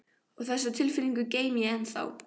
Og þessa tilfinningu geymi ég ennþá.